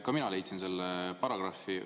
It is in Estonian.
Ka mina leidsin selle paragrahvi.